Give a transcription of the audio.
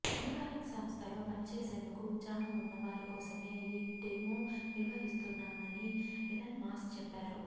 Neuralink సంస్థలో పనిచేసేందుకు ఉత్సాహం ఉన్న వారికోసమే ఈ డెమో నిర్వహిస్తున్నామని ఎలన్ మస్క్ చెప్పారు